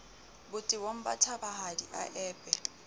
botebong ba thabahadi a epe